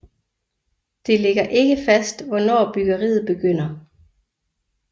Det ligger ikke fast hvornår byggeriet begynder